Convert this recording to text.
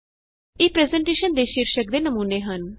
ਇਹ ਪਰੈੱਜ਼ਨਟੇਸ਼ਨ ਦੇ ਸ਼ੀਰਸ਼ਕ ਦੇ ਨਮੂਨੇ ਹਨ